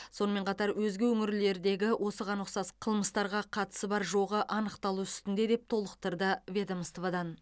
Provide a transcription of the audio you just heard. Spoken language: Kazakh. сонымен қатар өзге өңірлердегі осыған ұқсас қылмыстарға қатысы бар жоғы анықталу үстінде деп толықтырды ведомстводан